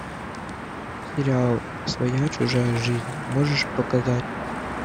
сериал своя чужая жизнь можешь показать